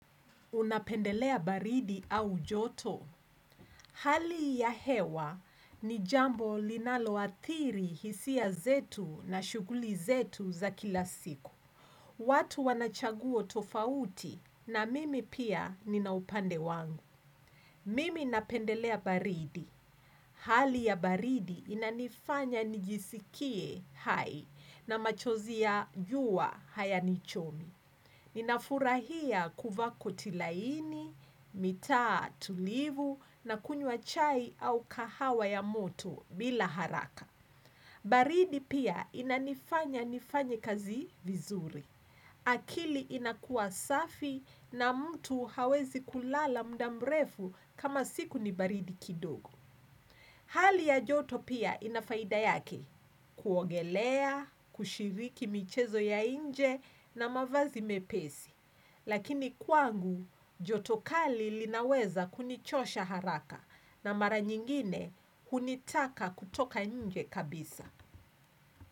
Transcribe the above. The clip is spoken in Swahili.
Unapendelea baridi au joto. Hali ya hewa ni jambo linalo hathiri hisia zetu na shuguli zetu za kila siku. Watu wanachaguo tofauti na mimi pia ninaupande wangu. Mimi napendelea baridi. Hali ya baridi inanifanya nijisikie hai na machozi ya juwa haya nichomi. Ninafurahia kuvaa koti laini, mitaa tulivu na kunywa chai au kahawa ya moto bila haraka. Baridi pia inanifanya nifanye kazi vizuri. Akili inakua safi na mtu hawezi kulala mda mrefu kama siku ni baridi kidogo. Hali ya joto pia inafaida yake kuogelea, kushiriki michezo ya inje na mavazi mepesi. Lakini kwangu, joto kali linaweza kunichosha haraka na mara nyingine hunitaka kutoka nje kabisa.